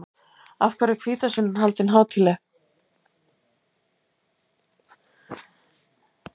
Af hverju er hvítasunnan haldin hátíðleg?